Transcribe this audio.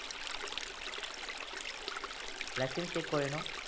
license check কৰে ন